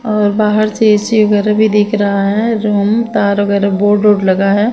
और बाहर से ए _सी वगैरा भी दिख रहा है रूम तार वगैरा बोर्ड वोर्ड लगा है ।